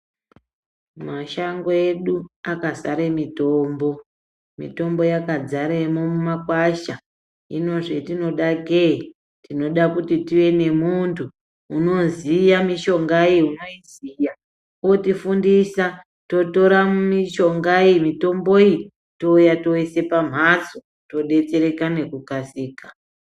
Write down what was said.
Mashango edu akazare mutombo, mitombo yakadzaremwo mumakwasha hino zvetinoda kee tinoda kuti tive nemuunthu unoziya mishongayo unoiziya otifundisa totora mishonga iyi mitombo iyi touya toisa pamhatso todetsereka ngekukasika.